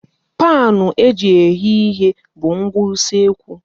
Paanụ eji eghe ihe bụ ngwa usekwu.